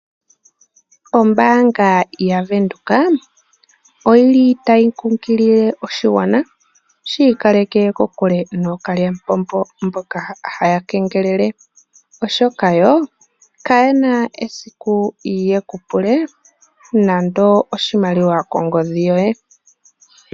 Ombaanga yaVenduka oyili tayi kunkilile oshigwana shi ikaleke kokule nookalyamupombo mboka haya kengelele ,oshoka yo kayena esiku yekupule nando oshimaliwa kongodhi yoye.